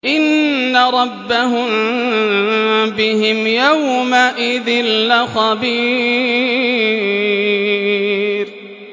إِنَّ رَبَّهُم بِهِمْ يَوْمَئِذٍ لَّخَبِيرٌ